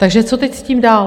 Takže co teď s tím dál?